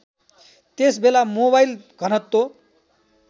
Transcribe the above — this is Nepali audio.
त्यसबेला मोबाइल घनत्व